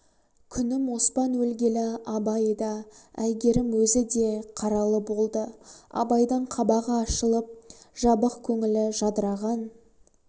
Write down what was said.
күнім оспан өлгелі абай да әйгерім өзі де қаралы болды абайдың қабағы ашылып жабық көңілі жадыраған